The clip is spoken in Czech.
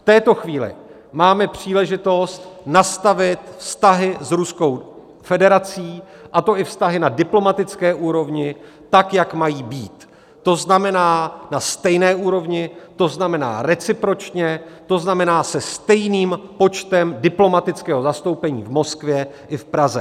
V této chvíli máme příležitost nastavit vztahy s Ruskou federací, a to i vztahy na diplomatické úrovni, tak jak mají být, to znamená na stejné úrovni, to znamená recipročně, to znamená se stejným počtem diplomatického zastoupení v Moskvě i v Praze.